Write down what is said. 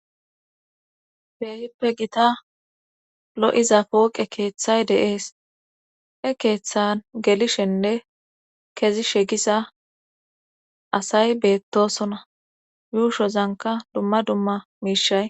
beehippe gita lo7iza pooqe keeththay deees he keeththan gelishenne kezi shegisa asay beettosona yuushozanka dumma dumma miishay